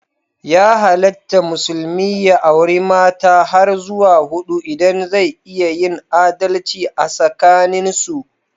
Ya halatta musulmi ya auri mata har zuwa hudu idan zai iya yin adalci asakanin su.